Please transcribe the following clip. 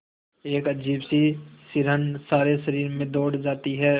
एक अजीब सी सिहरन सारे शरीर में दौड़ जाती है